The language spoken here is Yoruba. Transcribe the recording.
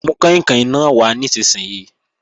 Mú kàìnkàìn náà wà nísinsìnyí!